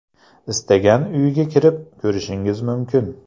Istagan uyga kirib ko‘rishingiz mumkin’.